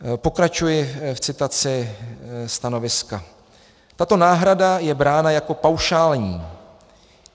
Pokračuji v citaci stanoviska: Tato náhrada je brána jako paušální.